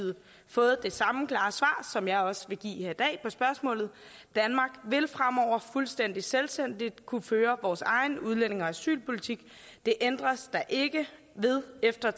fået det samme klare svar som jeg også vil give her i dag på spørgsmålet danmark vil fremover fuldstændig selvstændigt kunne føre vores egen udlændinge og asylpolitik det ændres der ikke ved efter